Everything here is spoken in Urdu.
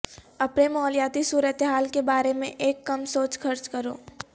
اپنے مالیاتی صورتحال کے بارے میں ایک کم سوچ خرچ کرو